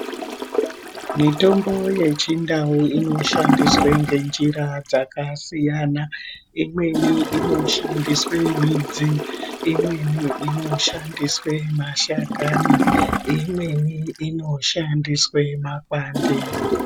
Mitombo yechindau inoshandiswe ngenjira dzakasiyana. Imweni inoshandiswe midzi. Imweni inoshandiswe mashakani . Imweni inoshandiswe makwande.